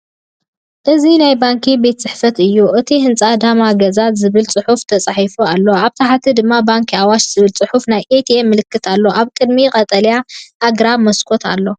እዚ ናይ ባንኪ ቤት ፅሕፈት እዩ፤ እቲ ህንጻ “ዳማ ገዛ” ዝብል ጽሑፍ ተጻሒፉሉ ኣሎ፡ ኣብ ታሕቲ ድማ “ባንኪ ኣዋሽ” ዝብል ጽሑፍን ናይ ኤቲኤም ምልክትን ኣለዎ። ኣብ ቅድሚት ቀጠልያ ኣግራብን መስኮትን ኣሎ።